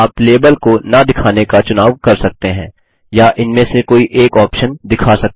आप लेबल को न दिखाने का चुनाव कर सकते हैं या इनमें से कोई एक ऑप्शन दिखा सकते हैं